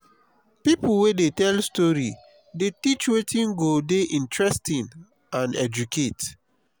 pipo wey dey tell story dey teach wetin go dey interesting and educate.